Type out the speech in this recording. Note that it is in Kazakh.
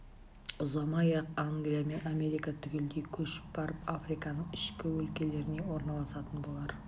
ұзамай-ақ англия мен америка түгелдей көшіп барып африканың ішкі өлкелеріне орналасатын болар